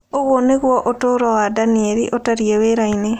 Ũguo nĩguo ũtũũro wa Daniel ũtariĩ wĩra-inĩ.